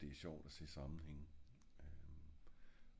jeg synes jo det er sjovt at se sammenhænge